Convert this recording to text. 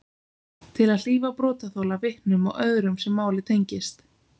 Til að hlífa brotaþola, vitnum eða öðrum sem málið tengist.